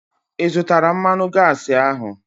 Ị zụtara mmanụ gaasi ahu?